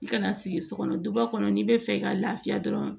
I kana sigi so kɔnɔ duba kɔnɔ n'i bɛ fɛ ka lafiya dɔrɔn